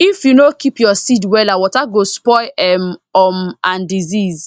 if you no keep your seed wella water go spoil um um and disease